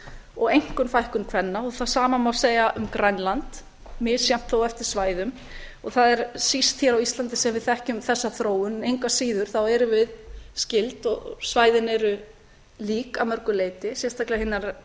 og einkum fækkun kvenna og það sama má segja um grænland misjafnt þó eftir svæðum og það er síst hér á íslandi sem við þekkjum þessa þróun en engu að síður þá erum við skyld og svæðin eru lík að mörgu leyti sérstaklega hinar